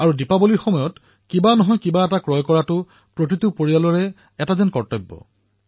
আৰু দিপাৱলীত বিশেষভাৱে নতুন কোনো বস্তু ক্ৰয় কৰা বজাৰৰ পৰা কিবা কিনি অনা সকলো পৰিয়ালতে অধিককম মাত্ৰাত কৰা হয়